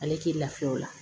Ale t'i lafiya o la